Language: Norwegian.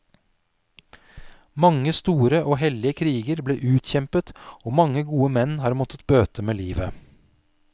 Mange store og hellige kriger ble utkjempet og mange gode menn har måttet bøte med livet.